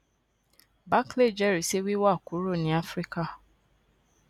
barclays jẹrìí sí wíwá kúrò ní áfíríkà